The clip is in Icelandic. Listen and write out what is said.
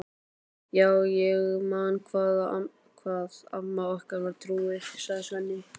Já, ég man hvað amma okkar var trúuð, segir Svenni.